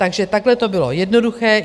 Takže takhle to bylo jednoduché.